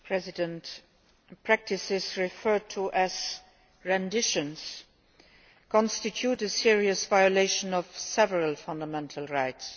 Mr President, practices referred to as renditions' constitute a serious violation of several fundamental rights.